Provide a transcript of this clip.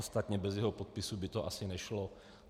Ostatně bez jeho podpisu by to asi nešlo.